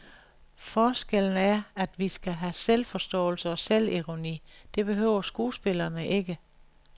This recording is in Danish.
Forskellen er, at vi skal have selvforståelse og selvironi, det behøver skuespillerne ikke.